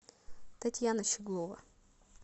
татьяна щеглова